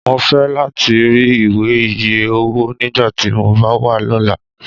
Mo fẹ lati ri iwe iye owo nigbati mo ba wa lọla!